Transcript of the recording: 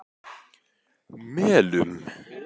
Melum